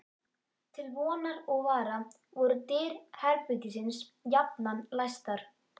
Til vonar og vara voru dyr herbergisins jafnan læstar.